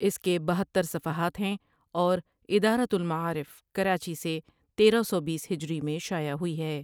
اسکے بہتر صفحات ہیں اور ادارۃ المعارف کراچی سے تیرہ سو بیس ہجری میں شائع ہوئی ہے۔